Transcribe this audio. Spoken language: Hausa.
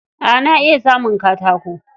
A na iya samun katako.